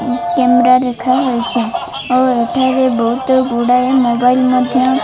camera ଦେଖା ହେଇଛି ଓ ଏଠାରେ ବୋହୁତ ଗୁଡ଼ାଏ ମୋବାଇଲ୍ ମଧ୍ୟ --